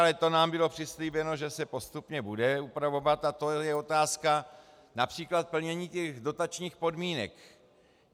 Ale to nám bylo přislíbeno, že se postupně bude upravovat, a to je otázka například plnění těch dotačních podmínek.